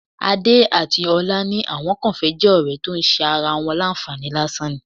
Adé àti ọlá ní àwọn kàn fẹ́ jẹ́ ọ̀rẹ́ tó ń ṣe ara wọn láǹfààní lásán ni